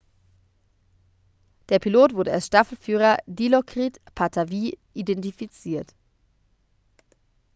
der pilot wurde als staffelführer dilokrit pattavee identifiziert